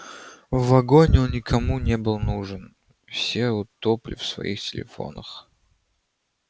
в вагоне он никому не был нужен все утопли в своих телефонах